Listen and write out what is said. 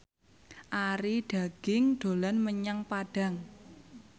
Arie Daginks dolan menyang Padang